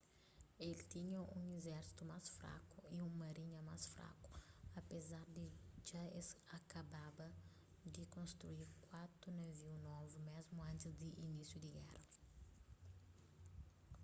el tinha un izérsitu más fraku y un marinha más fraku apézar di dja es akababa di konstrui kuatu naviu novu mésmu antis di inísiu di géra